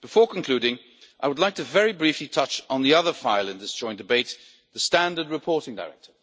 Before concluding, I would like to very briefly touch on the other file in this joint debate the Standard Reporting Directive.